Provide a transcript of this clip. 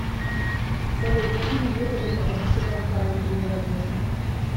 салют какими методами расчитать параметры невозможно